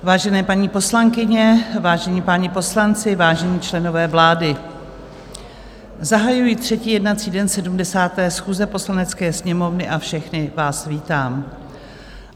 Vážené paní poslankyně, vážení páni poslanci, vážení členové vlády, zahajuji třetí jednací den 70. schůze Poslanecké sněmovny a všechny vás vítám.